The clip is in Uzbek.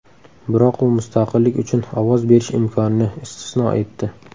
Biroq u mustaqillik uchun ovoz berish imkonini istisno etdi.